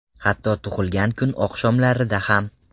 Hatto tug‘ilgan kun oqshomlarida ham!